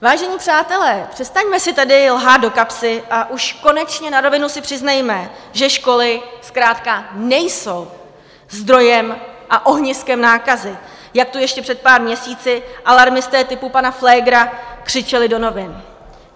Vážení přátelé, přestaňme si tady lhát do kapsy a už konečně na rovinu si přiznejme, že školy zkrátka nejsou zdrojem a ohniskem nákazy, jak to ještě před pár měsíci alarmisté typu pana Flégra křičeli do novin.